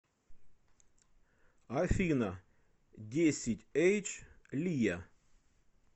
афина десятьэйдж лия